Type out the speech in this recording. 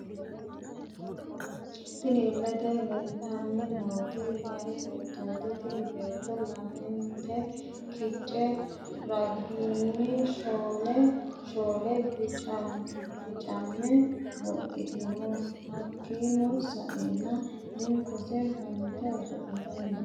Tinni illete leelitanni nooti miyaa beettoti tinni Beetto lamente kice ragaani shoole shoole bicame wodhitino hakiino sa'eena hinkose fante osolitani no.